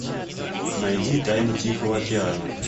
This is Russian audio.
найди тайны тихого океана